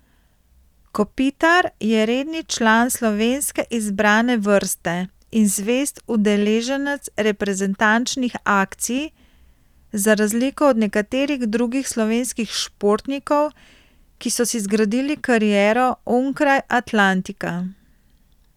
Kopitar je redni član slovenske izbrane vrste in zvest udeleženec reprezentančnih akcij, za razliko od nekaterih drugih slovenskih športnikov, ki so si zgradili kariero onkraj Atlantika.